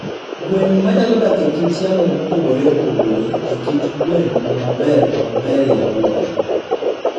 Gwen ma nyalo dak e kit yamo mopogore opogore e kit gwen maber maberie moloyo.